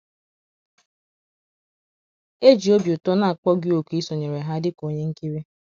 E ji obi ụtọ na - akpọ gị òkù isonyere ha dị ka onye nkiri.